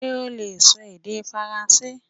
Ṣé ó leè sọ èdè faransé